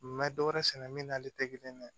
N bɛ dɔ wɛrɛ sɛnɛ min n'ale tɛ kelen dɛ